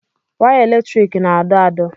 Waya eletriki na-adọ adọ̀.